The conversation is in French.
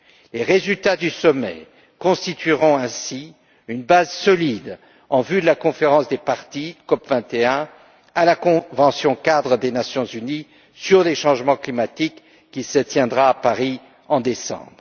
Les résultats du sommet constitueront ainsi une base solide en vue de la conférence des parties, COP 21, à la convention cadre des Nations unies sur les changements climatiques qui se tiendra à Paris en décembre.